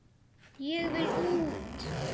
Ég vil út!